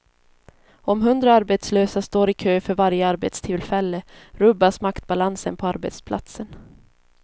Om hundra arbetslösa står i kö för varje arbetstillfälle rubbas maktbalansen på arbetsplatsen.